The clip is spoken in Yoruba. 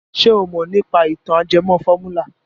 Ṣé o mọ̀ nípa ìtàn ajẹmọ fọ́múlà?